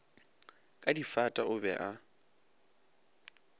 ka difata o be a